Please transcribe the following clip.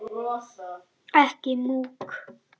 Ekki múkk